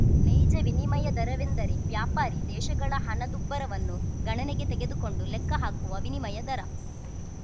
ನೈಜ ವಿನಿಮಯ ದರವೆಂದರೆ ವ್ಯಾಪಾರಿ ದೇಶಗಳ ಹಣದುಬ್ಬರವನ್ನು ಗಣನೆಗೆ ತೆಗೆದುಕೊಂಡು ಲೆಕ್ಕ ಹಾಕುವ ವಿನಿಮಯ ದರ